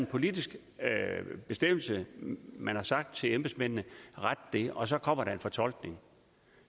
politisk man har sagt til embedsmændene ret det og så kommer der en fortolkning